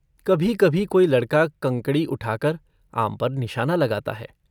कभीकभी कोई लड़का कंकड़ी उठाकर आम पर निशाना लगाता है।